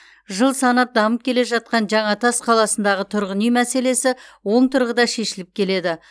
жыл санап дамып келе жатқан жаңатас қаласындағы тұрғын үй мәселесі оң тұрғыда шешіліп келеді